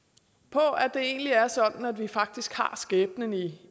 på at det egentlig er sådan at vi faktisk har skæbnen i